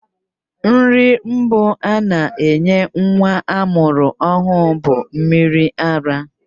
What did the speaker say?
Nri mbụ a na-enye nwa amụrụ ọhụrụ bụ mmiri ara,